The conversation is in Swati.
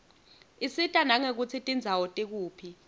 isita nangekutsi tindzawo tikuphi